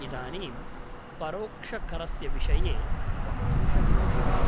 इदानीं परोक्षकरस्य विषये वक्तुं शक्नोषि वा?